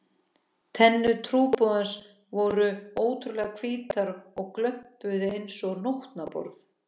Tennur trúboðans voru ótrúlega hvítar og glömpuðu einsog nótnaborð.